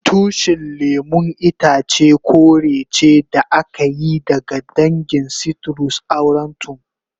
Tushin lemun itace kore ce da aka yi daga dangin citrus aurantum.